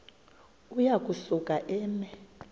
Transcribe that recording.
uya kusuka eme